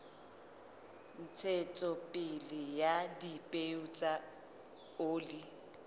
ntshetsopele ya dipeo tsa oli